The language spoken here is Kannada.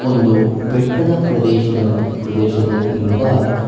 ಒಂದು ಬೆಟ್ಟದ ಪ್ರದೇಶದ ಪ್ರದೇಶದಲ್ಲಿ ಇಂದ--